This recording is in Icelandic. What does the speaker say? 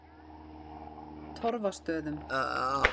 Torfastöðum